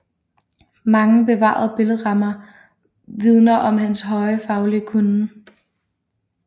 Mange bevarede billedrammer vidner om hans høje faglige kunnen